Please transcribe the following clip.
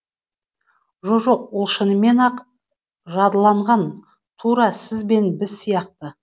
жо жоқ ол шынымен ақ жадыланған тура сіз бен біз сияқты